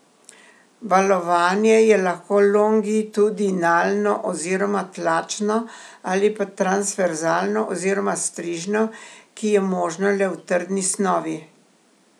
Valovanje je lahko longitudinalno oziroma tlačno ali pa transverzalno oziroma strižno, ki je možno le v trdni snovi.